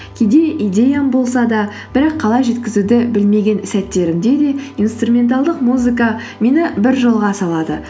кейде идеям болса да бірақ қалай жеткізуді білмеген сәттерімде де инструменталдық музыка мені бір жолға салады